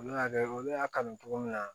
Olu y'a kɛ olu y'a kanu cogo min na